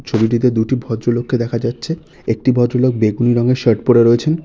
ছবিটিতে দুটি ভদ্রলোককে দেখা যাচ্ছে একটি ভদ্রলোক বেগুনি রঙের শার্ট পড়ে রয়েছেন।